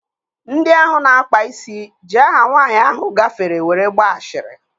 Ndị ahụ na-akpa isi ji aha nwaanyị ahụ gafere were gbaa ashịrị